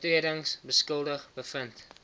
oortredings skuldig bevind